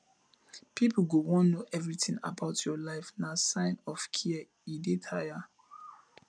pipo go wan know everytin about your life na sign of care e dey tire